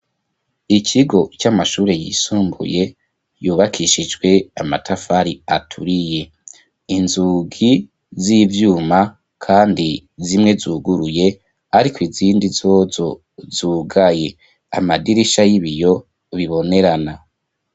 Ikigo c'amashuri yisumbuye yubakishijwe amatafari aturiye inzugi z'ivyuma kandi zimwe zuguruye ariko izindi zozo zugaye amadirisha y'ibiyo bibonerana.